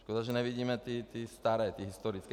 Škoda, že nevidíme ty staré, ty historické.